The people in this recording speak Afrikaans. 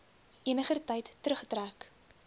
eniger tyd teruggetrek